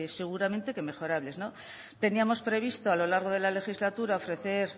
seguramente que mejorables teníamos previsto a lo largo de la legislatura ofrecer